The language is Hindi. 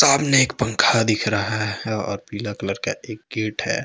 सामने एक पंखा दिख रहा है और पिला कलर का एक गेट है।